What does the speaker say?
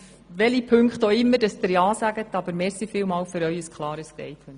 Aber zu welchen Auflagen Sie konkret auch ja sagen: Ich danke Ihnen für Ihr klares Statement.